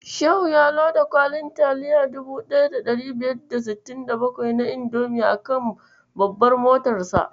Shehu ya loda kwali 1567 na indomi a kan babbar motarsa.